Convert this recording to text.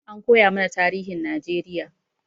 An koyamana tarihin Najeriya